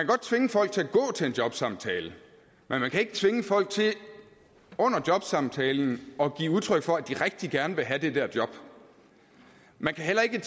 godt tvinge folk til at gå til en jobsamtale men man kan ikke tvinge folk til under jobsamtalen at give udtryk for at de rigtig gerne vil have det der job man kan heller ikke